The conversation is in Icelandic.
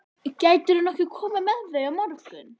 Gætirðu nokkuð komið með þau á morgun?